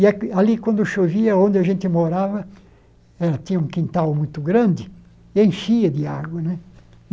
E aqui ali, quando chovia, onde a gente morava, ela tinha um quintal muito grande, e enchia de água né.